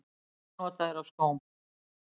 Númer hvað nota þeir af skóm?